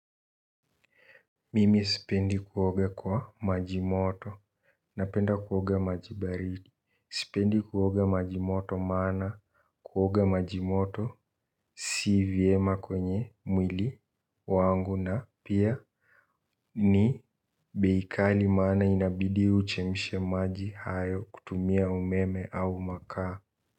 Mimi sipendi kuoga kwa maji moto napenda kuoga maji baridi sipendi kuoga maji moto maana kuoga maji moto si vyema kwenye mwili wangu na pia ni beikali maana inabidi uchemishe maji hayo kutumia umeme au makaa.